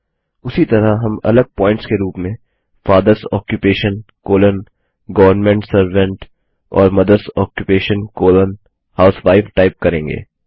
उसी तरह हम अलग प्वॉइंट्स के रूप में father's occupation colon government servant और mother's occupation colon housewife type करेंगे